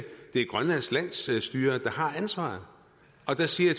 det er grønlands landsstyre der har ansvaret og der siger